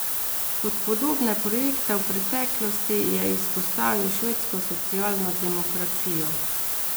Kot podobne projekte v preteklosti je izpostavil švedsko socialno demokracijo.